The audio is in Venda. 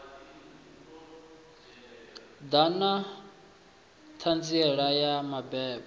ḓa na ṱhanziela ya mabebo